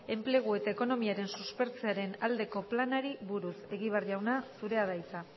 enplegu eta ekonomiaren suspertzearen aldeko planari buruz egibar jauna zurea da hitza